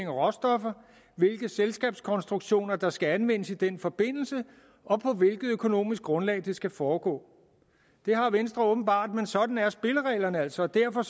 råstoffer hvilke selskabskonstruktioner der skal anvendes i den forbindelse og på hvilket økonomisk grundlag det skal foregå det har venstre åbenbart men sådan er spillereglerne altså og derfor